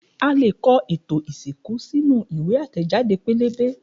A leè kọ ètò ìsìnkú sínú ìwé àtẹ̀jáde pẹ́lẹ́bẹ́